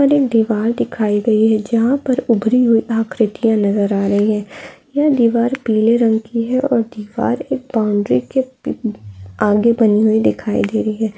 यहाँ पर एक दीवार दिखाई दे रही हैं। जहाँ पर उबरी हुई आकृतिया नजर आ रही हैं। यह दीवार पीले रंग की हैं। और दीवार एक बाउंड्री के पी आगे बनी हुई दिखाई दे रही हैं।